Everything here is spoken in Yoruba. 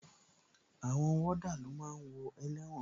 Àwọn wọ́dà ló máa ń wo ẹlẹ́wọ̀n